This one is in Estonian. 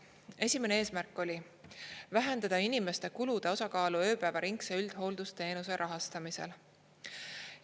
Esimene eesmärk oli vähendada inimeste kulude osakaalu ööpäevaringse üldhooldusteenuse rahastamisel.